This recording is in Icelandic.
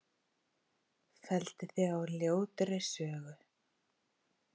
Felldi þig á ljótri sögu.